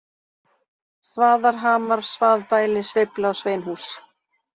Svaðarhamar, Svaðbæli, Sveifla, Sveinhús